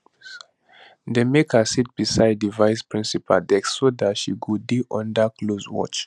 dem make her sit beside di vice principal desk so dat she go dey under close watch